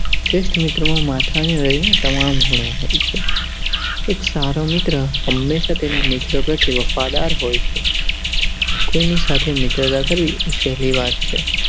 શ્રેષ્ઠ મિત્ર માં માથા થી લઈને તમામ ગુણ હોય છે. એક સારો મિત્ર હમેશા તેના મિત્રો પ્રત્યે વફાદાર હોય છે. કોઈની સાથે મિત્રતા કરવી સહેલી વાત છે.